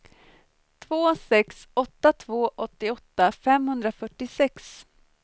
två sex åtta två åttioåtta femhundrafyrtiosex